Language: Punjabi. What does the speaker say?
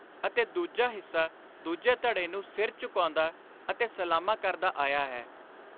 ਅਤੇ ਦੂਜਾ ਹਿੱਸਾ ਦੂਜੇ ਧੜੇ ਨੂੰ ਸਿਰ ਝੁਕਾਉਂਦਾ ਅਤੇ ਸਲਾਮਾਂ ਕਰਦਾ ਆਇਆ ਹੈ।